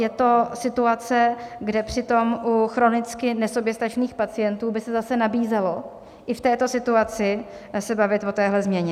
Je to situace, kde přitom u chronicky nesoběstačných pacientů by se zase nabízelo i v této situaci se bavit o téhle změně.